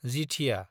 जिथिया